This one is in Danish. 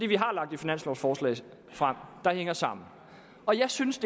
vi har lagt et finanslovforslag frem der hænger sammen jeg synes